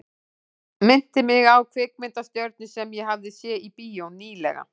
Minnti mig á kvikmyndastjörnu sem ég hafði séð í bíó ný- lega.